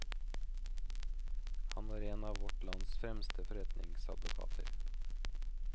Han var en av vårt lands fremste forretningsadvokater.